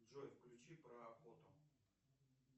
джой включи про охоту